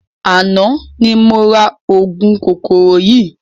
Àná ni mo ra ogún kòkòrò yii